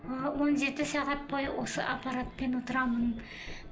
ы он жеті сағат бойы осы аппаратпен отырамын